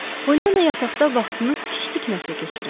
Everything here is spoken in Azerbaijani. Poliana yataqda vaxtını tikiş tikməklə keçirirdi.